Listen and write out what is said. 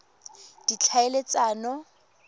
ditlhaeletsano